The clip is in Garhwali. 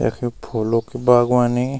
यख फूलो की बागवानी--